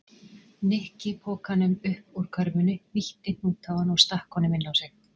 Nikki pokanum upp úr körfunni, hnýtti hnút á hann og stakk honum inn á sig.